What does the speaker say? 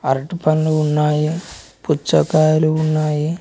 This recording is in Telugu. అరటి పండ్లు ఉన్నాయి పుచ్చకాయలు ఉన్నాయి.